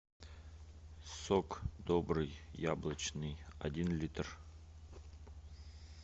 сок добрый яблочный один литр